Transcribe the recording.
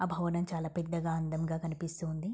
ఆ భవనం చాలా పెద్దగా అందంగా కనిపిస్తూ ఉంది.